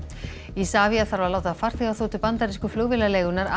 Isavia þarf að láta farþegaþotu bandarísku